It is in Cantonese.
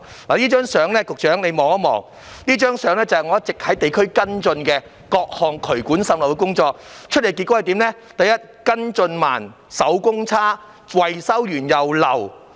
局長，請看看這張相片，這相片顯示我一直在地區跟進各項處理渠管滲漏的工作，得出的結果是跟進慢、手工差、維修後仍然滲漏。